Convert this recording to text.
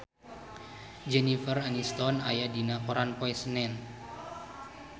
Jennifer Aniston aya dina koran poe Senen